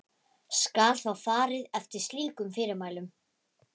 Skal þá farið eftir slíkum fyrirmælum.